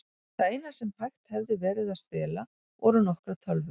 Það eina sem hægt hefði verið að stela voru nokkrar tölvur.